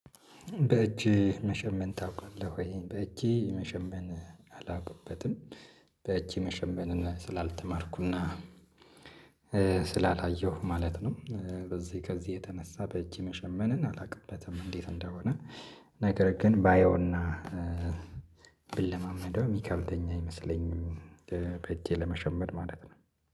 በእጅህ መሸመን ታውቃለህ ወይ? በእጄ መሸመን አላውቅበትም በእጄ መሸመን ስላልተማርኩና ስላላየሁ ማለት ነው። በዚህ ከዚህ የተነሳ በእጅ መሸመንን አላውቅበትም። እንዴት እንደሆነ? ነገር ግን ባየውና ብለማመደው የሚከብደኝ አይመስለኝም። በእጄ ለመሸመን ማለት ነው